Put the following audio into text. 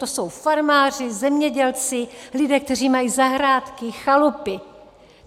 To jsou farmáři, zemědělci, lidé, kteří mají zahrádky, chalupy.